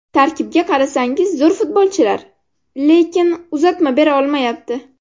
Tarkibga qarasangiz zo‘r futbolchilar, lekin uzatma bera olmayapti.